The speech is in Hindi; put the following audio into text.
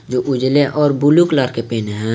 जो उजाले और बुलु कलर के पहने है।